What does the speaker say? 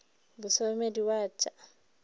mo somedi wa t sa